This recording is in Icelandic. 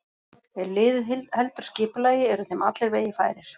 Ef liðið heldur skipulagi eru þeim allir vegir færir.